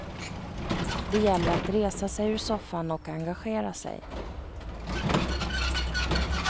Det gäller att resa sig ur soffan och engagera sig.